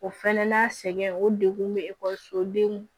O fɛnɛ n'a sɛgɛn o degun be ekɔliso denw